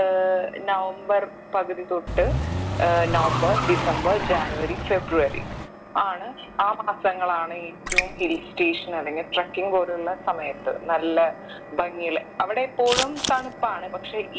ഏർ November പകുതി തൊട്ട് ഏർ നവംബർ ഡിസംബർ ജാനുവരി ഫെബ്രുവരി ആണ് ആ മാസങ്ങളാണ് ഏറ്റവും hill station അല്ലെങ്കിൽ trekking പോലുള്ള സമയത്ത് നല്ല ഭംഗിയുള്ള അവിടെ എപ്പോഴും തണുപ്പാണ്